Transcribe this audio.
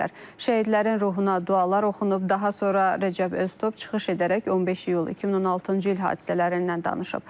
Şəhidlərin ruhuna dualar oxunub, daha sonra Rəcəb Öztob çıxış edərək 15 İyul 2016-cı il hadisələrindən danışıb.